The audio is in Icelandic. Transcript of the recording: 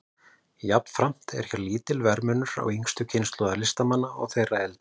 Jafnframt er hér lítill verðmunur yngstu kynslóðar listamanna og þeirrar eldri.